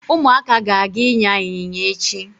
Ụmụaka ga-aga ịnya ịnyịnya echi.